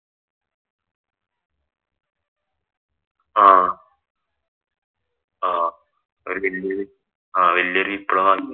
ആഹ് ആഹ് ഒരു വല്യ വല്യ ഒരു വിപ്ലവമായിരുന്നു.